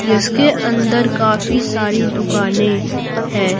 जिसके अंदर काफी सारी दुकानें हैं।